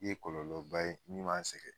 Ye kɔlɔlɔba ye min b'an sɛgɛn